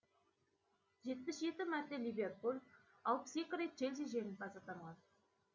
жетпіс жеті мәрте ливерпуль алпыс екі рет челси жеңімпаз атанған